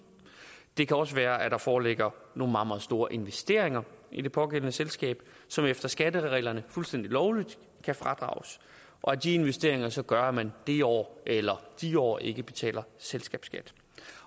det kan også være at der foreligger nogle meget meget store investeringer i det pågældende selskab som efter skattereglerne fuldstændig lovligt kan fradrages og at de investeringer så gør at man det år eller de år ikke betaler selskabsskat